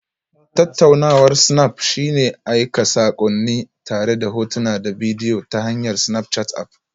Tattaunawar snap shine aika saƙonni tare da hotuna da bidiyo ta hanyar Snapchat App